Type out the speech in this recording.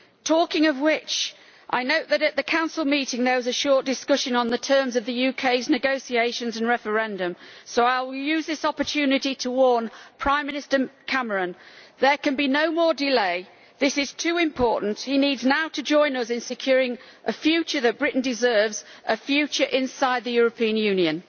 Talking of which, I note that at the Council meeting there was a short discussion on the terms of the UK's negotiations and referendum, so I will use this opportunity to warn Prime Minister Cameron there can be no more delay. This is too important. He now needs to join us in securing a future that Britain deserves a future inside the European Union.